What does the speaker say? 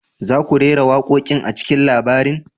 Za ku rera waƙoƙin a cikin labarin?